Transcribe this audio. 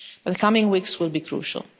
The coming weeks will be crucial.